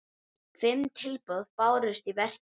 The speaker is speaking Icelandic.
Fimm tilboð bárust í verkið.